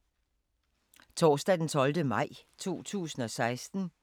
Torsdag d. 12. maj 2016